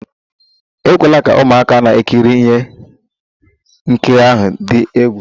Ekwela ka ụmụaka na-ekiri ihe nkiri ahụ dị egwu!